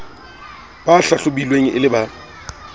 ba hlahlobilweng e le ba